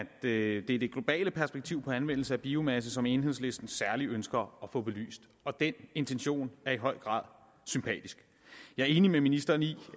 det er det globale perspektiv for anvendelse af biomasse som enhedslisten særlig ønsker at få belyst og den intention er høj grad sympatisk jeg er enig med ministeren i